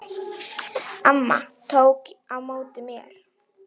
Amma tók á móti mér.